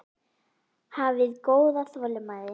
Hafiði góða þolinmæði?